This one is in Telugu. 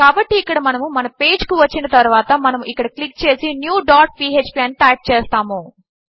కాబట్టి ఇక్కడ మనము మన పేజ్ కు వచ్చిన తరువాత మనము ఇక్కడ క్లిక్ చేసి న్యూ డాట్ phpఅని టైప్ చేస్తాము